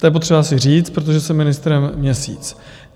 To je potřeba si říct, protože jsem ministrem měsíc.